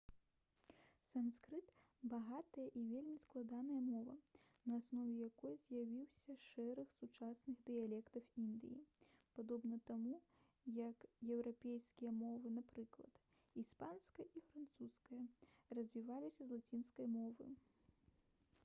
санскрыт багатая і вельмі складаная мова на аснове якой з'явіўся шэраг сучасных дыялектаў індыі падобна таму як еўрапейскія мовы напрыклад іспанская і французская развіліся з лацінскай мовы